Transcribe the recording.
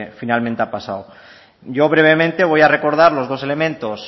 finalmente ha pasado yo brevemente voy a recordar los dos elementos